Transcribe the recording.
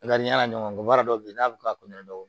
A ka di n yala ɲɔgɔn wɛrɛ dɔw bɛ yen n'a bɛ ka dɔw